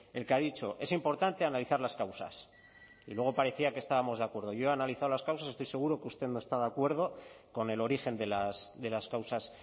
el que ha dicho es importante analizar las causas y luego parecía que estábamos de acuerdo yo he analizado las causas estoy seguro que usted no está de acuerdo con el origen de las causas